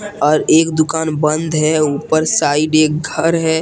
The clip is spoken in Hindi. और एक दुकान बंद हैं ऊपर साइड घर है।